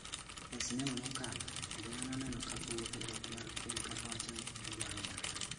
E sinema mokalo, Ojala ne oneno ka owuotho ​​e ot mar otel ka owacho ni "odwaro dak".